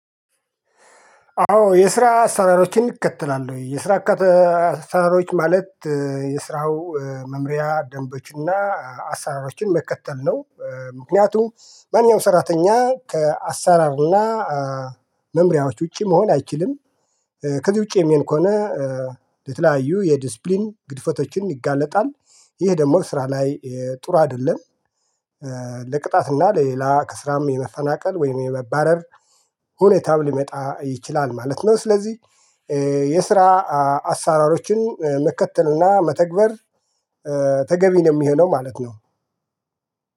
አዎ የስራ አሰራሮችን እከተላለሁ የስራ አሰራሮች ማለት የስራው መምሪያ ደንቦችና አሰራሮችን መከተል ነው። ምክንያቱም ማንኛውም ሰራተኛ ከአሰራርና መምሪያዎች ውጪ መሆን አይችልም። ከዚህ ውጪ የሚሆን ከሆነ ለተለያዩ የዲሲፕሊን ግድፈቶችን ይጋለጣል። ይህ ደግሞ ስራ ላይ ጥሩ አይደለም። ለቅጣት እና ለሌላ ከስራም የመፈናቀል ወይም የመባረር ሁኔታም ሊመጣ ይችላል ማለት ነው። ስለዚህ የስራ አሰራሮችን መከተልና መተግበር ተገቢ ነው የሚሆነው ማለት ነው